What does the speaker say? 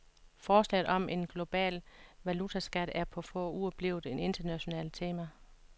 Forslaget om en global valutaskat er på få uger blevet et internationalt tema.